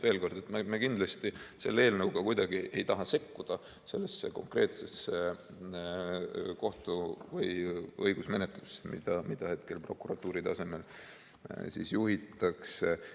Veel kord: me kindlasti selle eelnõuga ei taha kuidagi sekkuda sellesse konkreetsesse kohtu‑ või õigusmenetlusse, mida hetkel prokuratuuri tasemel juhitakse.